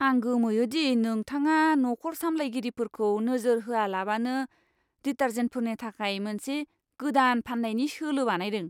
आं गोमोयो दि नोंथाङा नखर सामलायगिरिफोरखौ नोजोर होआलाबानो डिटार्जेन्टफोरनि थाखाय मोनसे गोदान फान्नायनि सोलो बानायदों!